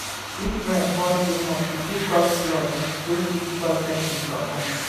if rain fall too much e fit cause flood wey fit spoil pesin property